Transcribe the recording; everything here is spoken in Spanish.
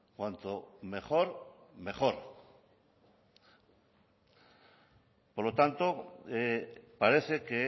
cuanto mejor mejor por lo tanto parece que